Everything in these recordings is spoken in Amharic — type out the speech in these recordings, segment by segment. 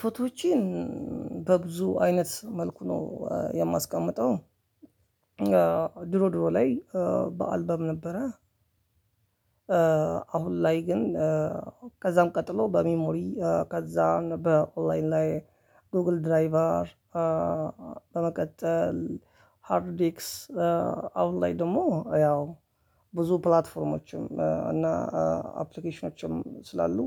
ፎቶዎችን በብዙ አይነት መልኩ ነው የማስቀምጠው። ድሮ ድሮ ላይ በአልበም ነበረ። አሁን ላይ ግን ከዛም ቀጥሎ በሜሞሪ ከዛ በኦላይን ላይ ጎግል ድራይቨር። በመቀጠል ሃርድ ዲክስ አሁንላይ ደግሞ ያው ብዙ ፕላትፎርሞችም እና አፕሊኬሽኖችም ስላሉ።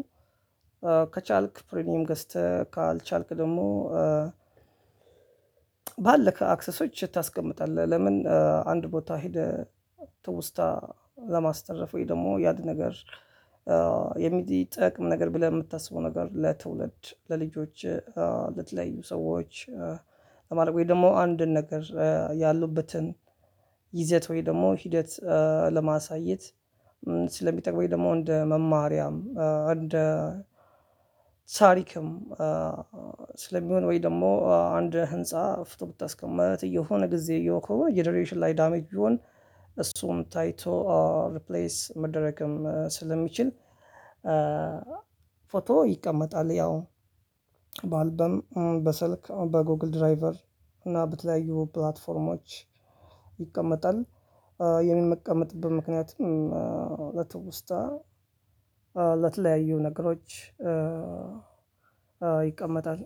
ከቻልክ ፕሪሚየም ገዝተህ ካልቻልክ ደግሞ ባለክ አክሰሶች ታስቀምጣለህ። ለምን አንድ ቦታ ሄደህ ትውስታ ለማስተረፍ ወይ ደግሞ ያድ ነገር። የሚጠቅም ነገር ብለህ ምታስበው ነገር ለትውልድ ለልጆች ለትለያዩ ሰዎች ለማለት ወይ ደግሞ አንድ ነገር ያሉበትን ይዘት ወይ ደግሞ ሂደት ለማሳየት። ስለሚጠቅመኝ ደግሞ እንደ መማሪያም እንደ ታሪክም ስለሚሆን ወይ ደግሞ አንድ ህንፃ ፍቶ ብታስቀምጥ የሆነ ጊዜ የሆነ ጀነሬሽን ላይ ዳሜጅ ቢሆን እሱም ታይቶ ሪፕሌስ መደረግም ስለሚችል። ፎቶ ይቀመጣል። ያው በአልበም በስልክ በጎግል ድራይቨር እና በተለያዩ ፕላትፎርሞች። ይቀመጣል። ምክንያቱም ለትውስታ ለተለያዩ ነገሮች። ይቀመጣል።